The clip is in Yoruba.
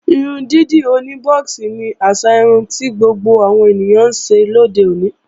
Irun dídì oní bọ́ọ̀xì ni àṣà irun ti gbogbo àwọn ènìyàn ńṣe lóde òní